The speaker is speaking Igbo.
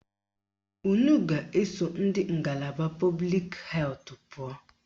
Unu ga-eso ndị ngalaba pọblik hetụ pụọ